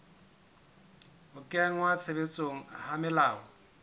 ho kenngwa tshebetsong ha melao